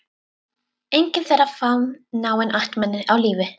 Enginn þeirra fann náin ættmenni á lífi.